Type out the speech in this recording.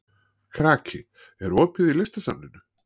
Kraki, er opið í Listasafninu?